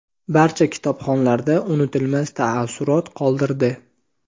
barcha kitobxonlarda unutilmas taassurot qoldirdi.